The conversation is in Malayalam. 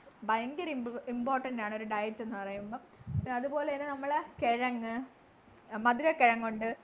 ഭയങ്കര ഇമ് important ആണ് ഒരു diet ന്നു പറയുമ്പോ അതുപോലെന്നെ നമ്മളെ കെഴങ്ങ് മധുരക്കിഴങ്ങുണ്ട്